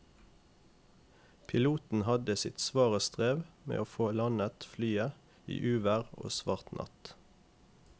Piloten hadde sitt svare strev med å få landet flyet i uvær og svart natt.